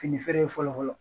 Fini feere fɔlɔ fɔlɔ